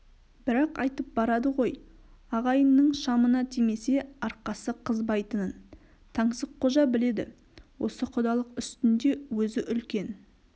бірақ айтып барады ғой ағайынның шамына тимесе арқасы қызбайтынын таңсыққожа біледі осы құдалық үстінде өзі үлкен